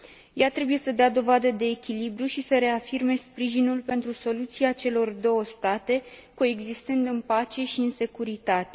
Ea trebuie să dea dovadă de echilibru și să reafirme sprijinul pentru soluția celor două state, coexistând în pace și în securitate.